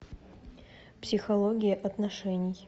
психология отношений